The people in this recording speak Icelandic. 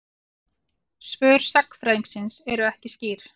Svör sagnfræðingsins eru ekki skýr.